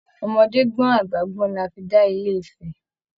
Ọmọdé gbọn, àgbà gbọn là fí da ilé-ifẹ̀